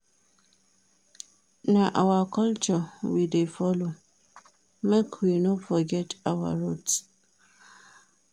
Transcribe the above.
Na our culture we dey follow, make we no forget our roots.